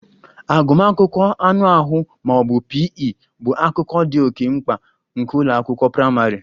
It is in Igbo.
Agụmakwụkwọ anụ ahụ ma ọ bụ P. E bụ akụkụ dị oke mkpa nke ụlọ akwụkwọ praịmarị